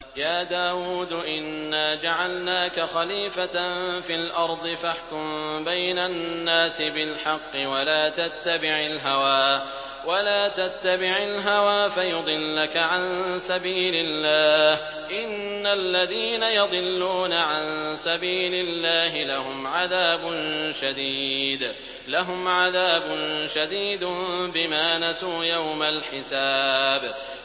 يَا دَاوُودُ إِنَّا جَعَلْنَاكَ خَلِيفَةً فِي الْأَرْضِ فَاحْكُم بَيْنَ النَّاسِ بِالْحَقِّ وَلَا تَتَّبِعِ الْهَوَىٰ فَيُضِلَّكَ عَن سَبِيلِ اللَّهِ ۚ إِنَّ الَّذِينَ يَضِلُّونَ عَن سَبِيلِ اللَّهِ لَهُمْ عَذَابٌ شَدِيدٌ بِمَا نَسُوا يَوْمَ الْحِسَابِ